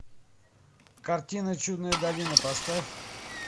картина чудная долина поставь